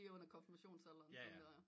Lige under konfirmationsalderen tænker jeg